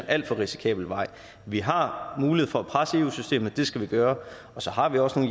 alt for risikabel vej vi har mulighed for at presse eu systemet og det skal vi gøre og så har vi også i